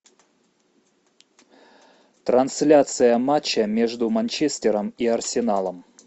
трансляция матча между манчестером и арсеналом